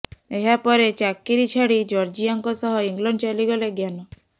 ଏହାପରେ ଚାକିରୀ ଛାଡି ଜର୍ଜିଆଙ୍କ ସହ ଇଂଲଣ୍ଡ ଚାଲିଗଲେ ଜ୍ଞାନ